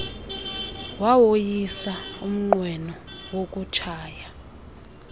wawoyisa umnqweno wokutshaya